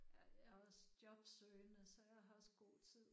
Ja jeg er også jobsøgende så jeg har også god tid